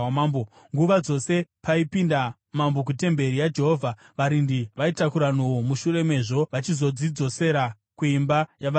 Nguva dzose paienda mambo kutemberi yaJehovha, varindi vaitakura nhoo, mushure mezvo vachizodzidzosera kuimba yavarindi.